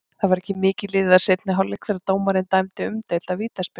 Það var ekki mikið liðið af seinni hálfleik þegar dómarinn dæmdi umdeilda vítaspyrnu.